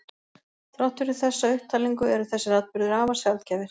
Þrátt fyrir þessa upptalningu eru þessir atburðir afar sjaldgæfir.